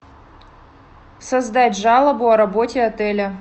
создать жалобу о работе отеля